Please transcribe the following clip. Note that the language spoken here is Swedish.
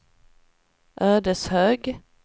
Ödeshög